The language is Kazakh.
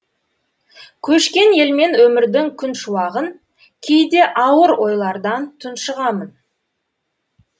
көшкен елмен өмірдің күн шуағын кейде ауыр ойлардан тұншығамын